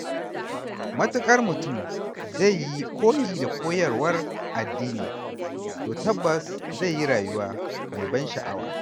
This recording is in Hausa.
Matuƙar mutum zai yi koyi da koyarwar addini to tabbas zai yi rayuwa mai ban sha'awa.